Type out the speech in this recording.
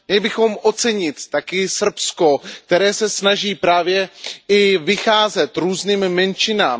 Měli bychom ocenit také Srbsko, které se snaží právě i vycházet vstříc různým menšinám.